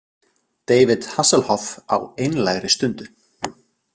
David Hasselhoff á einlægri stundu.